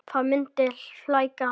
Það myndi flækja hann.